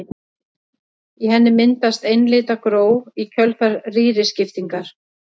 Í henni myndast einlitna gró í kjölfar rýriskiptingar.